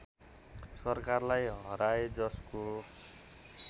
सरकारलाई हराए जसको